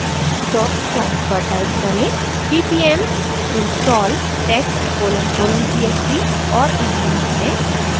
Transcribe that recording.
dos prompt पर type करें: ppm install text colon colon csv और एंटर दबाएं